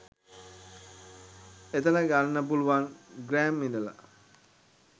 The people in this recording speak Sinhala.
එතන ගන්න පුළුවන් ග්‍රෑම් ඉදල.